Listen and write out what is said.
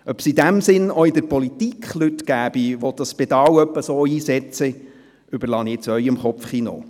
Ob es in diesem Sinn auch in der Politik Leute gibt, die dieses Pedal so einsetzen, überlasse ich Ihrem Kopfkino.